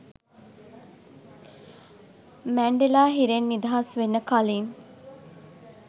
Mandela හිරෙන් නිදහස් වෙන්න කලින්